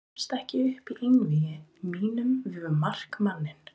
Ég gafst ekki upp í einvígi mínu við markmanninn.